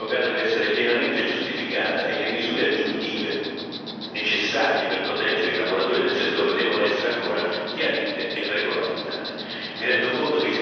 Tuttavia, tale deroga deve essere pienamente giustificata e le misure aggiuntive necessarie per proteggere i lavoratori del settore devono essere ancora chiarite e regolamentate.